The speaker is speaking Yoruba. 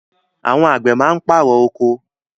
Àwọn àgbẹ̀ máa ń pàrọ̀ oko.